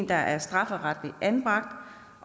der er strafferetligt anbragt